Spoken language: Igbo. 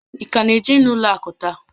Ị ka na-eje n'ụlọ akụ taa?